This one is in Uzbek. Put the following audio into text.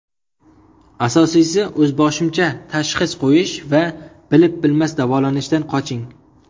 Asosiysi, o‘zboshimcha tashxis qo‘yish va bilib-bilmas davolanishdan qoching.